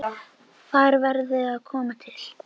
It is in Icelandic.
Þær verði að koma til.